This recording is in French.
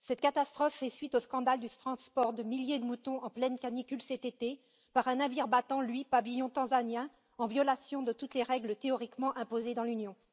Cette catastrophe fait suite au scandale du transport de milliers de moutons en pleine canicule, cet été, par un navire battant, lui, pavillon tanzanien, en violation de toutes les règles théoriquement imposées dans l'Union.